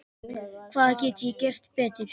Hvað get ég gert betur?